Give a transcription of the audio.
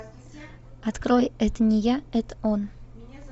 открой это не я это он